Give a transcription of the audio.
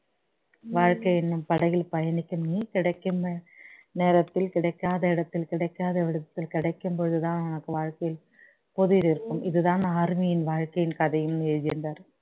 வாழ்க்கை என்னும் படகில் பயணிக்கும் நீ கிடைக்கும் நேரத்தில கிடைக்காத இடத்தில் கிடைக்காத இடத்தில் கிடைக்கும் போது தான் நமக்கு வாழ்க்கையில் இருக்கும் இது தான் army யின் வாழ்க்கையில் கதைன்னு எழுதி இருந்தாரு